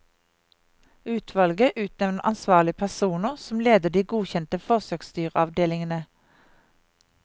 Utvalget utnevner ansvarlige personer, som leder de godkjente forsøksdyravdelingene.